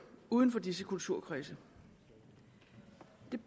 uden for disse kulturkredse